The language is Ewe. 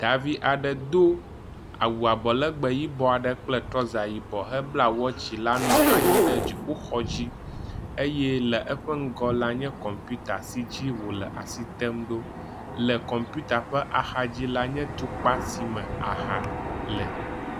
Davi aɖe do wu abɔlegbe yibɔ aɖe kple trɔza yibɔ hebla watsi la nɔ anyi ɖe dziƒoxɔ dzi eye le eƒe ŋgɔ la nye kɔmpita si dzi wo le asi tem ɖo. Le kɔmpita ƒe axadzi la nye tukpa si me aha le.